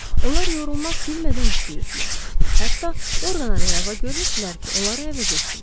Onlar yorulmaq bilmədən işləyirdilər, hətta Orqana rəva görmürdülər ki, onları əvəz etsin.